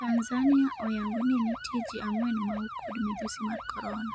Tanzania oyang'o ni nitie ji ang'wen mau kod midhusi mar corona .